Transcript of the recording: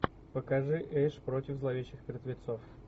покажи эш против зловещих мертвецов